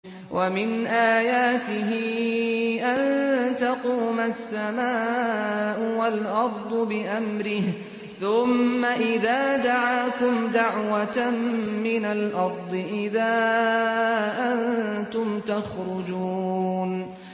وَمِنْ آيَاتِهِ أَن تَقُومَ السَّمَاءُ وَالْأَرْضُ بِأَمْرِهِ ۚ ثُمَّ إِذَا دَعَاكُمْ دَعْوَةً مِّنَ الْأَرْضِ إِذَا أَنتُمْ تَخْرُجُونَ